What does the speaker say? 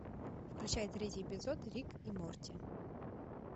включай третий эпизод рик и морти